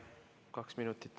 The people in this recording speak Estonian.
Kaks minutit.